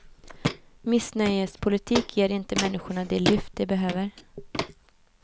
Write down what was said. Missnöjespolitik ger inte människorna det lyft de behöver.